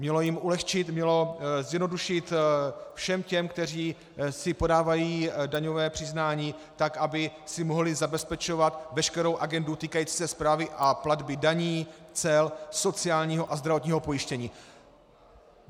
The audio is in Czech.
Mělo jim ulehčit, mělo zjednodušit všem těm, kteří si podávají daňové přiznání, tak aby si mohli zabezpečovat veškerou agendu týkající se správy a platby daní, cel, sociálního a zdravotního pojištění.